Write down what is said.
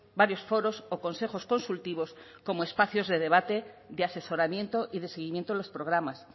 varios foros o consejos consultivos como espacios de debate de asesoramiento y de seguimiento de los programas